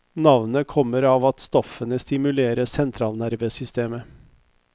Navnet kommer av at stoffene stimulerer sentralnervesystemet.